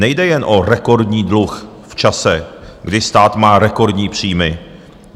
Nejde jen o rekordní dluh v čase, kdy stát má rekordní příjmy.